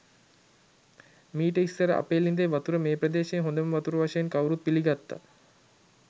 මීට ඉස්‌සර අපේ ළිඳේ වතුර මේ ප්‍රදේශයේ හොඳම වතුර වශයෙන් කවුරුත් පිළිගත්තා.